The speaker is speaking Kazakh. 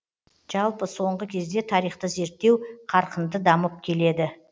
жалпы соңғы кезде тарихты зерттеу қарқынды дамып келеді